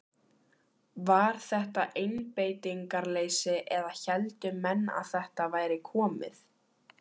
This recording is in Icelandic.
Var þetta einbeitingarleysi eða héldu menn að þetta væri komið?